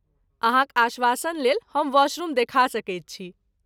अहाँक आश्वासनलेल हम वाशरूम देखा सकैत छी।